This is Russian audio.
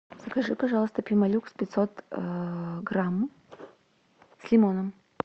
закажи пожалуйста пемолюкс пятьсот грамм с лимоном